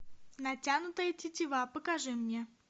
натянутая тетива покажи мне